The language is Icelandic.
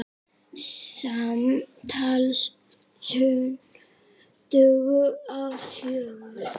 Samtals tuttugu og fjögur.